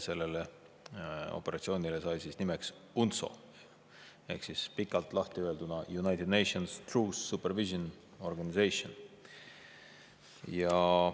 Selle operatsiooni nimeks sai UNTSO ehk siis lahtiöelduna United Nations Truce Supervision Organization.